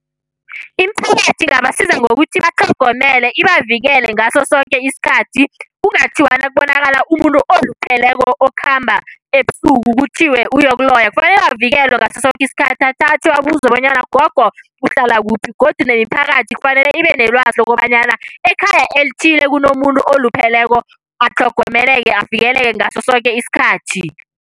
Imiphakathi ingabasiza ngokuthi batlhogomele ibavikele ngasosoke isikhathi. Kungathiwa nakubonakala umuntu olupheleko okhamba ebusuku kuthiwe uyokuloya. Kufanele avikelwe ngasosoke isikhathi, athathwe abuzwe bonyana gogo uhlala kuphi. Godu nemiphakathi kufanele ibe nelwazi lokobanyana ekhaya elithize kunomuntu olupheleko, atlhogomeleke avikeleke ngasosoke isikhathi.